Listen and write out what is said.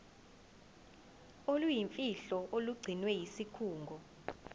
oluyimfihlo olugcinwe yisikhungo